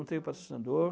Não tenho patrocinador.